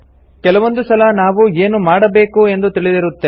ಕೆಲವೊಂದು ಸಲ ನಾವು ಏನು ಮಾಡಬೇಕು ಎಂದು ತಿಳಿದಿರುತ್ತೇವೆ